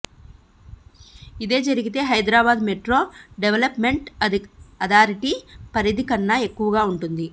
ఇదే జరిగితే Hyderabad metro development authority పరిధి కన్నా ఎక్కువగా ఉంటుంది